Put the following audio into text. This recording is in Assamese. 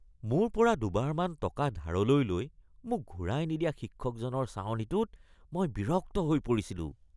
মোৰ পৰা দুবাৰমান টকা ধাৰলৈ লৈ মোক ঘূৰাই নিদিয়া শিক্ষকজনৰ চাৱনিটোত মই বিৰক্ত হৈ পৰিছিলো